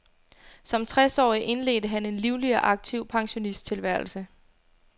Som tres årig indledte han en livlig og aktiv pensionisttilværelse.